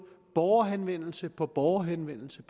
borgerhenvendelse på borgerhenvendelse